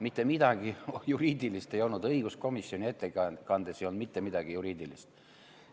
Mitte midagi juriidilist ei olnud, õiguskomisjoni ettekandes ei olnud mitte midagi juriidilist.